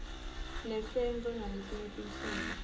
nesnz naletinye tinhlobo